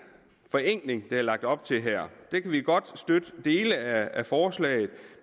forenkling der er lagt op til her godt støtte dele af forslaget